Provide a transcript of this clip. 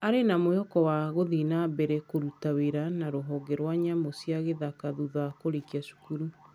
Arĩ na mwĩhoko wa gũthiĩ na mbere kũruta wĩra na rũhonge rwa nyamũ cia gĩthaka thutha wa kũrĩkia cukuru.